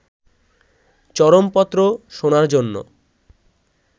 চরমপত্র' শোনার জন্য